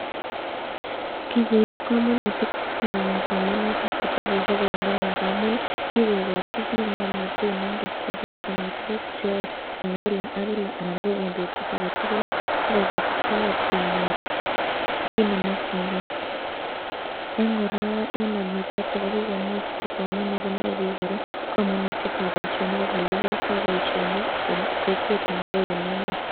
Kikoib komonutik chechang somanetab kitabushek en Kenya nga'muun kikokochi biik ng'omnotet notok sikobiit konai tukuk cheyoe en kilak ak kilak anan ko en betut aketukul sikobiit icheket konyor kiit nemokying'e, en kora en agriculture ko kikomuuch kosoman ak konai biik kora komonutietab boishonik ak elekiyoito boishonik en kokwet anan ko en emet.